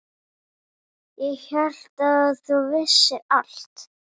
Ég hélt að þú vissir allt.